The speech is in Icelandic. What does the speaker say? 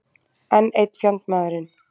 Enn einn fjandmaðurinn.